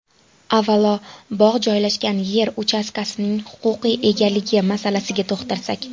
Avvalo, bog‘ joylashgan yer uchastkasining huquqiy egaligi masalasiga to‘xtalsak.